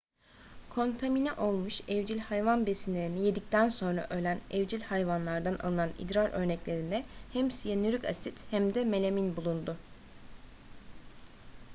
kontamine olmuş evcil hayvan besinlerini yedikten sonra ölen evcil hayvanlardan alınan idrar örneklerinde hem siyanürik asit hem de melamin bulundu